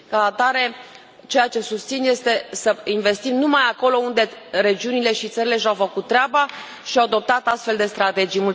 Ca atare, ceea ce susțin este să investim numai acolo unde regiunile și țările și au făcut treaba și au adoptat astfel de strategii.